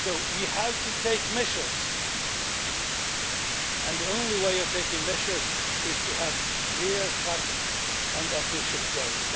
We have to take measures, and the only way you can take measures is to have clear-cut and ambitious goals